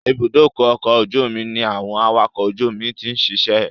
Ìbúdókọ̀ ọ̀kọ̀ ojú omi ní àwọn awakọ̀ ojú omi ti ń ṣiṣẹ́